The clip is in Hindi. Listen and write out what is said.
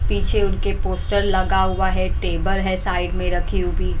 पीछे उनके पोस्टर लगा हुआ है टेबल हैसाइड में रखी हुई।